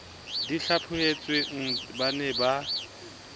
di hlaphohetsweng ba ne ba